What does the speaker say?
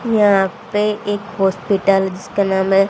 यहां पे एक हॉस्पिटल जिसका नाम है--